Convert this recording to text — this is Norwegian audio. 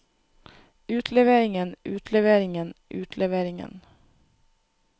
utleveringen utleveringen utleveringen